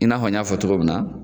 I n'a fɔ n y'a fɔ cogo min na